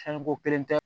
Fɛn ko kelen tɛ